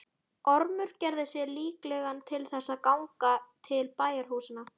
Ormur gerði sig líklegan til þess að ganga til bæjarhúsanna.